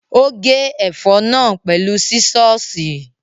Ó gé ẹ̀fọ́ náà pẹ̀lú sísọ́ọ̀sì.